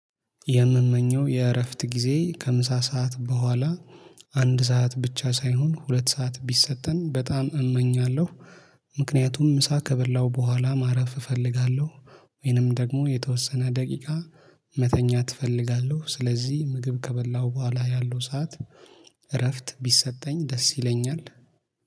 የምመኘው የእረፍት ጊዜ ከምሳ ሰዓት በኋላ አንድ ሰዓት ብቻ ሳይሆን ሁለት ሰዓት ቢሰጠን በጣም እመኛለሁ። ምክንያቱም ምሳ ከበላሁ በኋላ ማረፍ እፈልጋለሁ። ወይንም ደግሞ የተወሰነ ደቂቃ መተኛት እፈልጋለሁ ስለዚህ ምግብ ከበላሁ በኋላ ያለው ሰዓት። እረፍት ቢሰጠኝ ደስ ይለኛል